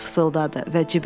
Sais fısıldadı